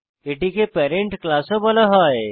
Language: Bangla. এটিকে প্যারেন্ট ক্লাস ও বলা হয়